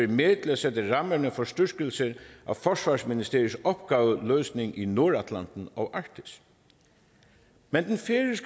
med til at sætte rammerne for styrkelse af forsvarsministeriets opgaveløsning i nordatlanten og arktis men